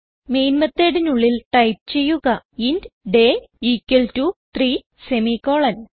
main methodനുള്ളിൽ type ചെയ്യുക int day equal to 3 semi colon